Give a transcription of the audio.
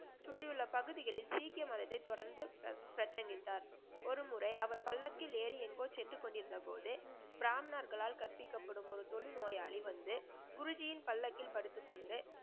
சுற்றி உள்ள பகுதிகலில் சீக்கிய மதத்தை தொடர்ந்து சத்தமிட்டார். ஒரு முறை அவர் பல்லக்கில் ஏறி எங்கோ சென்று கொண்டு இருந்தபோது பிராமனர்களால் கற்பிக்கப்படும் ஒரு தொழு நோயாளி வந்து குருஜியின் பல்லாக்கில் படுத்து கொண்டு